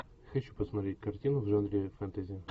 хочу посмотреть картину в жанре фэнтези